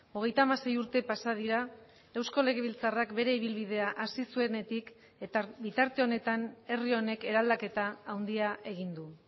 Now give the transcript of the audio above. hogeita hamasei urte pasa dira eusko legebiltzarrak bere ibilbidea hasi zuenetik eta bitarte honetan herri honek eraldaketa handia egin du